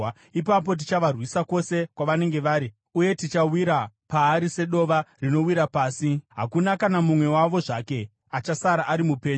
Ipapo tichavarwisa kwose kwavanenge vari, uye tichawira paari sedova rinowira pasi. Hakuna kana mumwe wavo zvake achasara ari mupenyu.